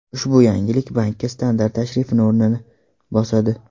Ushbu yangilik bankka standart tashrifni o‘rnini bosadi.